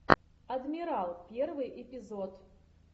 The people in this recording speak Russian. адмирал первый эпизод